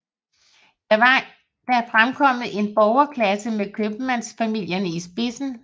Dér var der fremkommet en borgerklasse med købmandsfamilierne i spidsen